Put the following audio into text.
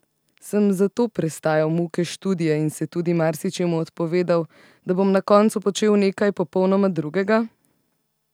Sem zato prestajal muke študija in se tudi marsičemu odpovedal, da bom na koncu počel nekaj popolnoma drugega?